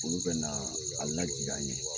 Olu bɛna a lajigin an ye.